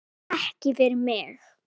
Ekki fyrir mig!